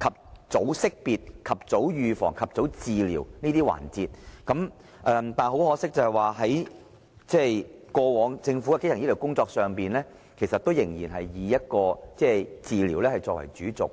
及早識別、預防和治療為主要環節，但是，很可惜的是，過往政府在基層醫療的工作上仍然以治療為主軸。